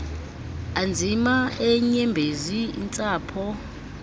anzima eenyembezi intsapho